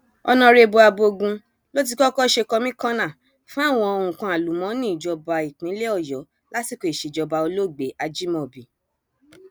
mo mọ pé alárèékérekè èèyàn kan ni kò sì lè rí mi mú èèwọ ni